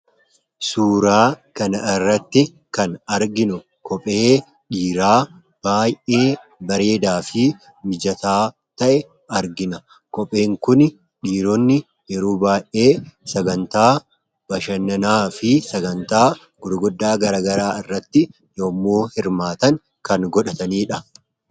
Suuraa kana irratti kan arginu, kophee dhiiraa baayyee bareedaa fi mijataa ta'e argina. Kopheen Kun, dhiironni yeroo baayyee sagantaa bashannanaa fi sagantaa gurguddaa garaagaraa irratti yemmuu hirmaatan kan godhatanidha.